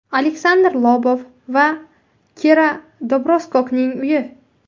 Aleksandr Lobov va Kira Dobroskokning uyi.